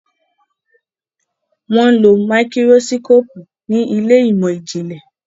wón ló Máíkírósíkópù ní Ilé ìmọ̀n-jinlẹ.